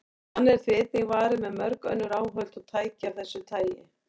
Þannig er því einnig varið með mörg önnur áhöld og tæki af þessu tagi.